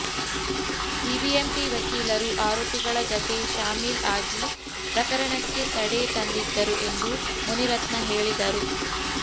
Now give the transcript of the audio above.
BBMP ವಕೀಲರು ಆರೋಪಿಗಳ ಜತೆ ಶಾಮೀಲ್ ಆಗಿ ಪ್ರಕರಣಕ್ಕೆ ತಡೆ ತಂದಿದ್ದರು ಎಂದು ಮುನಿರತ್ನ ಹೇಳಿದರು